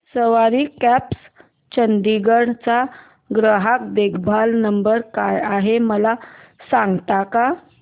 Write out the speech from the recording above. सवारी cabs Chandigarh चा ग्राहक देखभाल नंबर काय आहे मला सांगता का